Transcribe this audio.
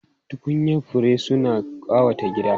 Tukunyan fure suna ƙawata gida.